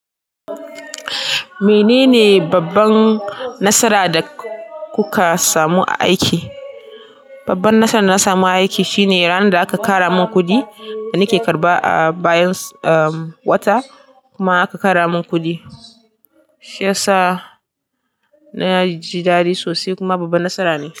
Menene babban nasara da kuka samu a aiki? Babban nasara da na samu a aiki shine ranan da aka kara min kuɗi da nake karɓa a bayan, ah, wata kuma aka kara min kuɗi. Shi yasa naji dadi sosai kuma babba nasara ne.